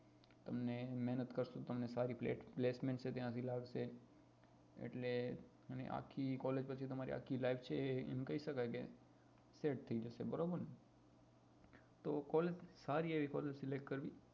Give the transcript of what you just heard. મહેનત કરશું તમને સારી સારી એ લાગશે એટલે તમે આખી collage પછી તમારી પછી આખી life છે એ એમ કહી શકાય કે set થઇ જશે બરાબર ને તો collage સારી એવી collage select કરવી